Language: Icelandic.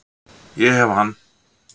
Ég hef hann